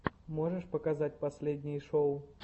можешь показать последние шоу